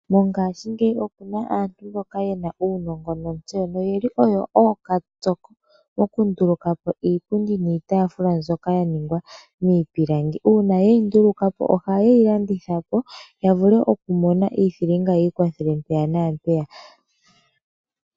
Mongashingeyi okuna aantu mboka yena uunongo nontseyo, oyeli onga oyo ookatsoko mokunduluka po iipundi niitafula mbyoka yaningwa niipilangi, una yeyi nduluka po ohayeyi landitha po yavule okumona iithilinga yiikwathele mpeya nampeya.